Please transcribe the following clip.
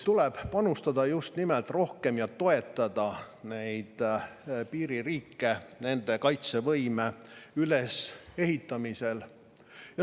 Tuleb panustada just nimelt rohkem ja toetada piiririike nende kaitsevõime ülesehitamisel.